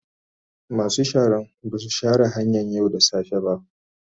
Masu sharan ba su share hanyan yau da safe ba.